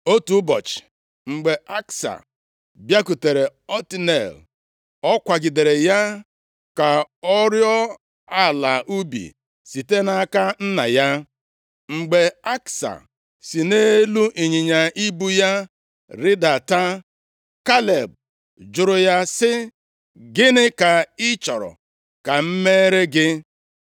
Otu ụbọchị, mgbe Aksa bịakwutere Otniel, ọ kwagidere ya ka ọ rịọọ ala ubi site nʼaka nna ya. Mgbe Aksa si nʼelu ịnyịnya ibu ya rịdata, Kaleb jụrụ ya sị, “Gịnị ka ị chọrọ ka m mere gị?”